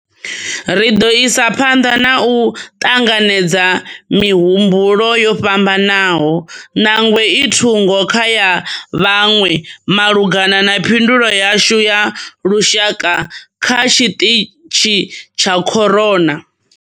Ri ḓo isa phanḓa na u ṱanganedza mihumbulo yo fhambanaho, ṋangwe i thungo kha ya vhaṅwe malugana na phindulo yashu ya lushaka kha tshiṱitshi tsha corona.